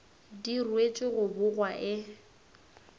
di ruetšwe go bogwa e